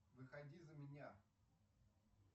выходи за меня